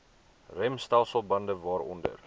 remstelsel bande waaronder